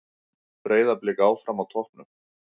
Breiðablik áfram á toppnum